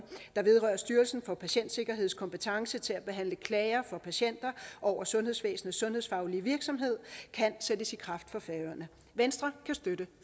der vedrører styrelsen for patientsikkerheds kompetence til at behandle klager fra patienter over sundhedsvæsenets sundhedsfaglige virksomhed kan sættes i kraft for færøerne venstre kan støtte